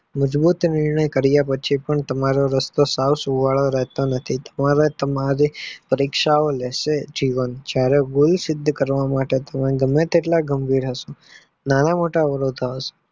ઉંધવાટ નિયય કારિયા પછી તમારો રસ્તો સૌ સુંવાળો રહેતો નથી કિસ્મત તમારી પરીક્ષાઓ લેશે જીવન માં જયારે goal સિદ્ધ કરવા માટે તમે ગમે તેટલા ગંભીર રહો નાના મોટા